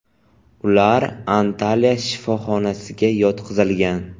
Ular Antalya shifoxonasiga yotqizilgan.